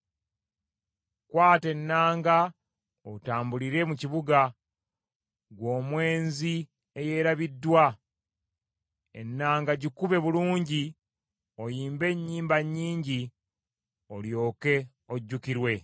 “Kwata ennanga, otambulire mu kibuga, ggwe omwenzi eyeerabiddwa. Ennanga gikube bulungi, oyimbe ennyimba nnyingi olyoke ojjukirwe.”